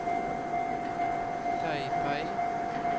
Taipei